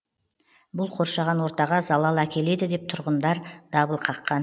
бұл қоршаған ортаға залал әкеледі деп тұрғындар дабыл қаққан